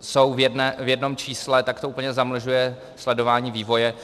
jsou v jednom čísle, tak to úplně zamlžuje sledování vývoje.